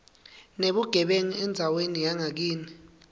nebugebengu endzaweni yangakini